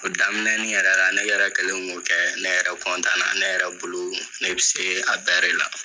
O daminɛnin yɛrɛ la, ne yɛrɛ kɛlen k'o kɛ , ne yɛrɛ na, ne yɛrɛ bolo ne bɛ se a bɛɛ la